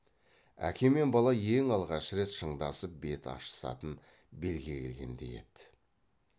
әке мен бала ең алғаш рет шындасып бет ашысатын белге келгендей еді